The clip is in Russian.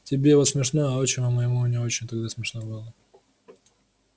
тебе вот смешно а отчиму моему не очень тогда смешно было